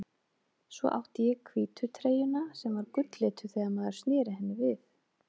Svo átti ég hvítu treyjuna sem var gulllituð þegar maður sneri henni við.